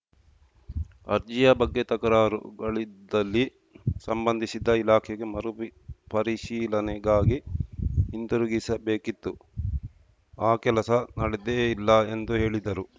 ಅರ್ಜಿಯ ಬಗ್ಗೆ ತಕರಾರು ಗಳಿದ್ದಲ್ಲಿ ಸಂಬಂಧಿಸಿದ ಇಲಾಖೆಗೆ ಮರುಪರಿಶೀಲನೆಗಾಗಿ ಹಿಂದಿರುಗಿಸಬೇಕಿತ್ತು ಆ ಕೆಲಸ ನಡೆದೇ ಇಲ್ಲ ಎಂದು ಹೇಳಿದರು